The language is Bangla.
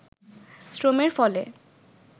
শ্রমের ফলে